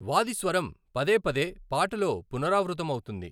వాది స్వరం పదేపదే పాటలో పునరావృతం అవుతుంది.